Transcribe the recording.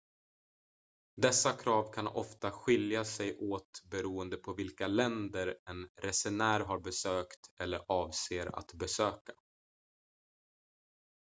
dessa krav kan ofta skilja sig åt beroende på vilka länder en resenär har besökt eller avser att besöka